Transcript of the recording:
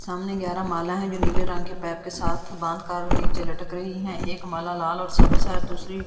सामने ग्यारह माला हैं जो नीले रंग के पाइप के साथ बांध कर नीचे लटक रही हैं एक माला लाल और सब्ज है और दूसरी--